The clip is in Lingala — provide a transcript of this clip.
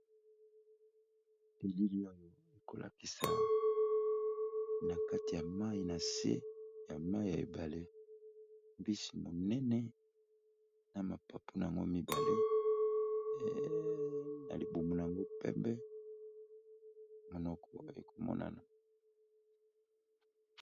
telili oyo ekolakisa na kati ya mai na se ya mai ya ebale mbisi monene na mapapu na yango mibale na libumu na yango pepe monoko ekomonana